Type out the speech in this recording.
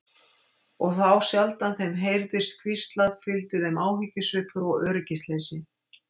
Og þá sjaldan þeim heyrðist hvíslað fylgdi þeim áhyggjusvipur og öryggisleysi.